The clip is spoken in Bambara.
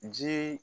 Jii